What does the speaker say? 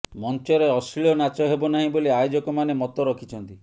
ମଞ୍ଚରେ ଅଶ୍ଲୀଳ ନାଚ ହେବ ନାହିଁ ବୋଲି ଆୟୋଜକମାନେ ମତ ରଖିଛନ୍ତି